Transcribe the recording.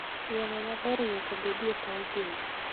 Yamo maber nyaka bedie e paw gwen.